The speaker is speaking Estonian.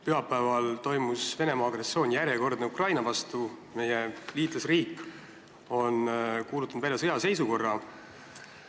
Pühapäeval toimus järjekordne Venemaa agressioon Ukraina vastu ja meie liitlasriik on kuulutanud välja sõjaseisukorra.